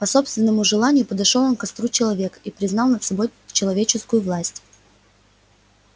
по собственному желанию подошёл он к костру человека и признал над собой человеческую власть